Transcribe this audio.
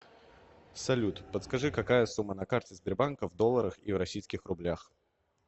салют подскажи какая сумма на карте сбербанка в долларах и в российских рублях